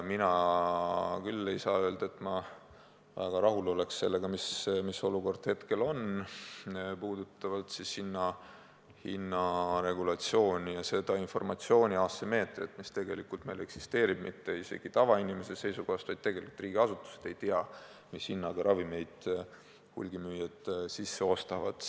Mina küll ei saa öelda, et ma väga rahul oleks sellega, mis olukord hetkel on, puudutavalt hinnaregulatsiooni ja seda informatsiooni asümmeetriat, mis tegelikult meil eksisteerib, mitte isegi tavainimese seisukohast, vaid tegelikult riigiasutused ei tea, mis hinnaga ravimeid hulgimüüjad sisse ostavad.